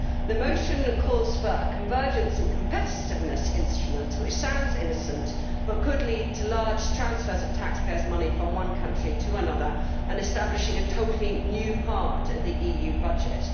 The motion calls for a convergence and competitiveness instrument, which sounds innocent but could lead to large transfers of taxpayers' money from one country to another and establishing a totally new part of the EU budget.